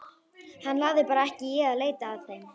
Hann lagði bara ekki í að leita að þeim.